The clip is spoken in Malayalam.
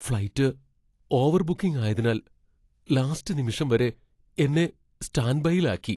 ഫ്ലൈറ്റ് ഓവർ ബുക്കിംഗ് ആയതിനാൽ ലാസ്റ്റ് നിമിഷം വരെ എന്നെ സ്റ്റാൻഡ് ബൈയിൽ ആക്കി.